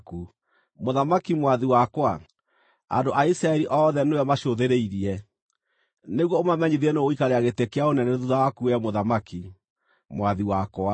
Mũthamaki mwathi wakwa, andũ a Isiraeli othe nĩwe macũthĩrĩirie, nĩguo ũmamenyithie nũũ ũgaikarĩra gĩtĩ kĩa ũnene thuutha waku wee mũthamaki, mwathi wakwa.